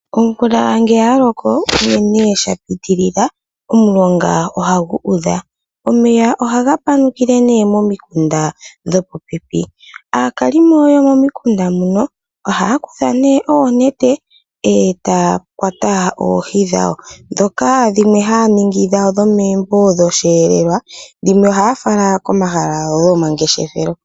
Omvula ngee yaloko unene sha pitilila, omulonga ohagu udha. omeya ohaga panukile nee momikunda dho popepi, aakalimo yo momikunda muno ohaa kutha nee oonete etaya kwata oohi dhawo, dhoka dhimwe haa ningi dhawo dho meembo dho sheelelwa, dhimwe ohaa fala komahala go mangeshefelo.